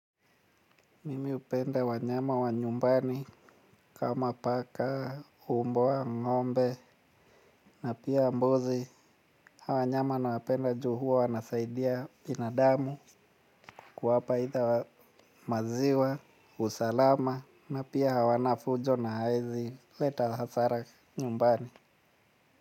Mimi hupenda wanyama wa nyumbani kama paka mbwa ng'ombe na pia mbuzi hawa wanyama nawapenda ju huwa wanasaidia binadamu kuwapa either maziwa usalama na pia hawana fujo na haezi leta hasara nyumbani.